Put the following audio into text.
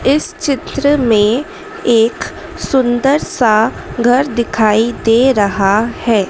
इस चित्र में एक सुंदर सा घर दिखाई दे रहा है।